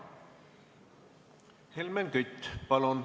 Helmen Kütt, palun!